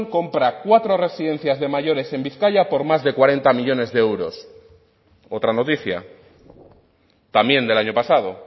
compra cuatro residencias de mayores en bizkaia por más de cuarenta millónes de euros otra noticia también del año pasado